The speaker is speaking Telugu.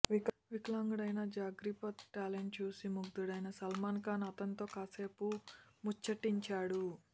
వికలాంగుడైన జగ్ప్రీత్ టాలెంట్ చూసి ముగ్ధుడైన సల్మాన్ఖాన్ అతనితో కాసేపు ముచ్చటించాడు